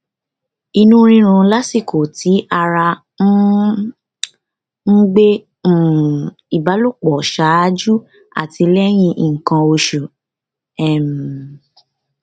ìnu rirun lasiko ti ara um n gbe um ìbálòpọ ṣáájú àti lẹyìn nkan osu um